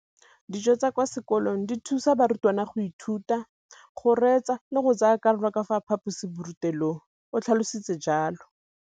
Dijo tsa kwa sekolong dithusa barutwana go ithuta, go reetsa le go tsaya karolo ka fa phaposiborutelong, o tlhalositse jalo.